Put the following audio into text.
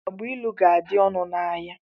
Agbailu ga-adị ọnụ n'ahia.